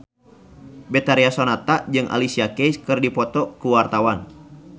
Betharia Sonata jeung Alicia Keys keur dipoto ku wartawan